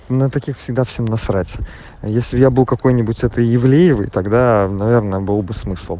на таких всегда всем насрать а если я был какой-нибудь это ивлеевой тогда наверное был бы смысл